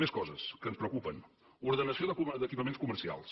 més coses que ens preocupen ordenació d’equipaments comercials